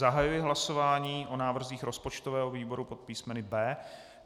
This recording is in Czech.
Zahajuji hlasování o návrzích rozpočtového výboru pod písmeny B.